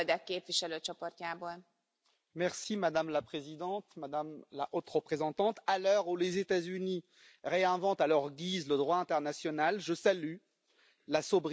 Madame la Présidente, Madame la Haute représentante, à l'heure où les États Unis réinventent à leur guise le droit international, je salue la sobriété juridique et la constance européenne.